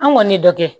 An kɔni ye dɔ kɛ